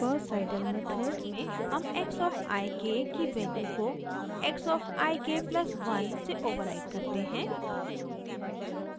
gauss seidel method में हम x of i k की वैल्यू को x of i k+1 से ओवर राइट करते हैं